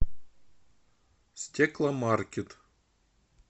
стекломаркет